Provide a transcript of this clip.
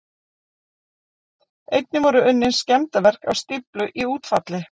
Einnig voru unnin skemmdarverk á stíflu í útfalli